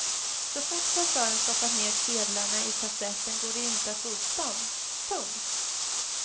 Så fort kassören stoppat ner sedlarna i kassetten går det inte att få upp dem. punkt